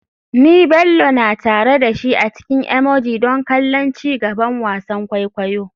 Ni Bello na tare da shi a cikin emoji don kallon ci gaban wasan kwaikwayo.